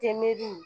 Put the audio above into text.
Te mɛriw